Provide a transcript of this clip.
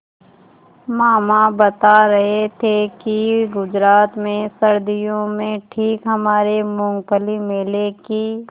मामा बता रहे थे कि गुजरात में सर्दियों में ठीक हमारे मूँगफली मेले की